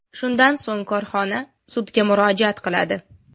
Shundan so‘ng, korxona sudga murojaat qiladi.